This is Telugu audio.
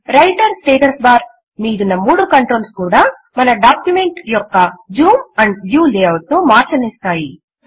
వ్రైటర్ స్టేటస్ బార్ మీదున్న మూడు కంట్రోల్స్ కూడా మన డాక్యుమెంట్ యొక్క జూమ్ ఆండ్ వ్యూ లేఆఉట్ ను మార్చనిస్తాయి